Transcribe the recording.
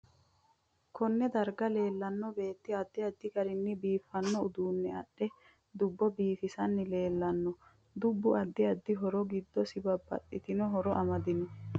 Konne darga leelanno beeti addi addi garinni biifanno uduune adhe dubbo bifisanni leelanno dubbu addi addi horo giddosi babaxitino horo amadino